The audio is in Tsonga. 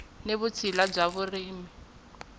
ni vutshila bya vurimi na